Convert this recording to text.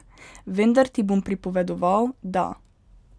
Vendar ti bom pripovedoval, da.